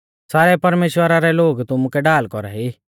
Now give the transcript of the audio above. सारै परमेश्‍वरा रै लोग तुमुकै ढाल कौरा ई